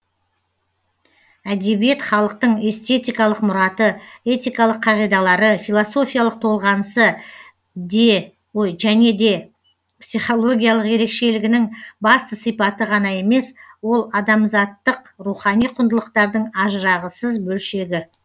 әдебиет халықтың эстетикалық мұраты этикалық қағидалары философиялық толғанысы және де психологиялық ерекшелігінің басты сипаты ғана емес ол адамзаттық рухани құндылықтардың ажырағысыз бөлшегі